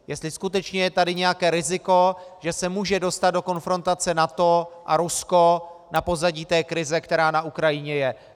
Jestli skutečně je tady nějaké riziko, že se může dostat do konfrontace NATO a Rusko na pozadí té krize, která na Ukrajině je.